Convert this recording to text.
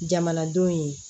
Jamanadenw ye